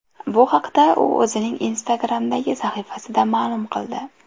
Bu haqda u o‘zining Instagram’dagi sahifasida ma’lum qildi.